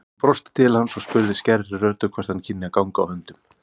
Hún brosti til hans og spurði skærri röddu hvort hann kynni að ganga á höndum.